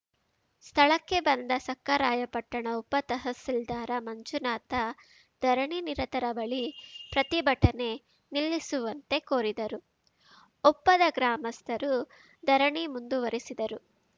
ಸ್ಥಳಕ್ಕೆ ಬಂದ ಸಖರಾಯಪಟ್ಟಣ ಉಪ ತಹಸೀಲ್ದಾರ್‌ ಮಂಜುನಾಥ ಧರಣಿನಿರತರ ಬಳಿ ಪ್ರತಿಭಟನೆ ನಿಲ್ಲಿಸುವಂತೆ ಕೋರಿದರೂ ಒಪ್ಪದ ಗ್ರಾಮಸ್ಥರು ಧರಣಿ ಮುಂದುವರಿಸಿದರು